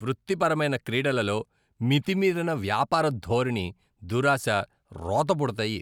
వృత్తిపరమైన క్రీడలలో మితిమీరిన వ్యాపారధోరణి, దురాశ రోత పుడతాయి.